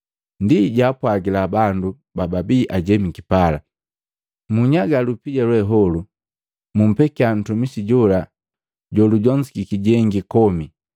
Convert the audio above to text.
Ndi jaapwagila bandu bababi ajemiki pala, ‘Munyaga lupija lweholu, mumpekya ntumisi jola jolujonzukiki jengi komi.’